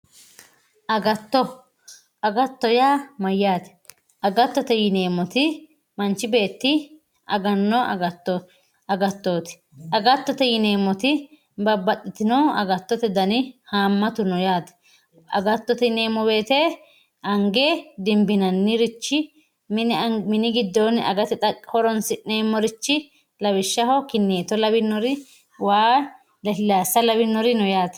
Agatto agatto yaa mayyate agattote yineemmoti manchi beetti aganno agattooti agattote yineemmoti agattote babbaxxitino haammatu dani no yaate agattote yineemmoti ange dimbinannirichi mini giddoonni agate horoonsi'nannirichi lawishshaho kinneetto waa lasilaassa lawinori no yaate.